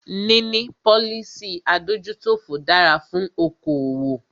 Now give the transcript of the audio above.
Níní policy adójútòfò dára fún okoòwò.